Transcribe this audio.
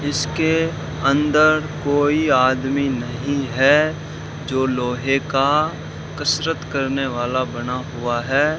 इसके अंदर कोई आदमी नहीं है जो लोहे का कसरत करने वाला बना हुआ है।